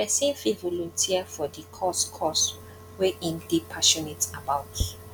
pesin fit volunteer for di cause cause wey im dey passionate about